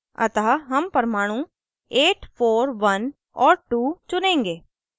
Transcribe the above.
अतः हम परमाणु 841 और 2 चुनेंगे